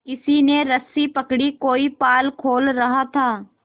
किसी ने रस्सी पकड़ी कोई पाल खोल रहा था